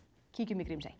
kíkjum í Grímsey